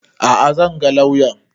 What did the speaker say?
A'a zan ga lauyan